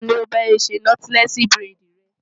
Ta ni ó bá ọ ṣe nọ́tílẹ́ẹ̀sì buredì rẹ?